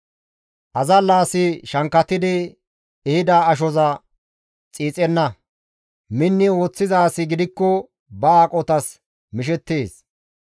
Azalla asi shankkatidi ehida ashoza xiixenna; minni ooththiza asi gidikko ba aqotas mishettees.